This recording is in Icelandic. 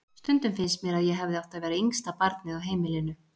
Stundum finnst mér að ég hefði átt að vera yngsta barnið á heimilinu.